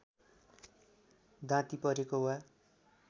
दाँती परेको वा